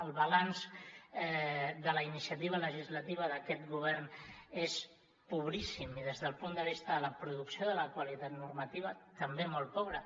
el balanç de la iniciativa legislativa d’aquest govern és pobríssim i des del punt de vista de la producció de la qualitat normativa també molt pobre